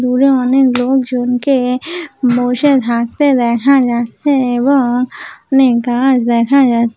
দূরে অনেক লোকজনকে বসে থাকতে দেখা যাচ্ছে এবং অনেক গাছ দেখা যাচ--